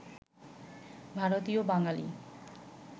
ভারতীয় বাঙালি